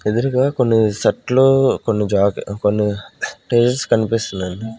ఎదురుగా కొన్ని సెట్లు కొన్ని జాకీ-- కొన్ని టైల్స్ కనిపిస్తున్నాయండి.